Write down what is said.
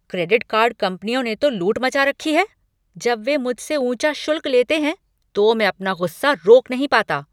Credit card कंपनियों ने तो लूट मचा रखी हैं। जब वे मुझसे ऊंचा शुल्क लेते हैं तो मैं अपना गुस्सा रोक नहीं पाता।